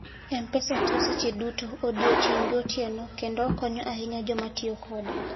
M-Pesa tiyo seche duto, odiechieng' gotieno, kendo okonyo ahinya joma tiyo kode.